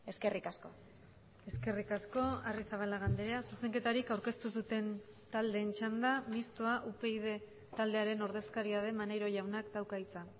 eskerrik asko eskerrik asko arrizabalaga andrea zuzenketarik aurkeztu ez duten taldeen txanda mistoa upyd taldearen ordezkaria den maneiro jaunak dauka hitza